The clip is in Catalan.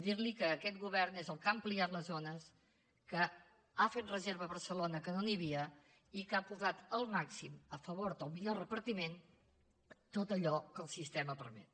dir li que aquest govern és el que ha ampliat les zones que ha fet reserva a barcelona que no n’hi havia i que ha posat el màxim a favor del millor repartiment tot allò que el sistema permet